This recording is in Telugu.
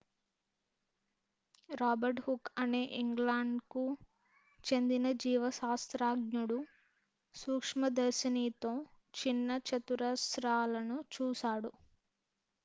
రాబర్ట్ హూక్ అనే ఇంగ్లాండ్కు చెందిన జీవశాస్త్రజ్ఞుడు సూక్ష్మదర్శినితో చిన్న చతురస్రాలను చూశాడు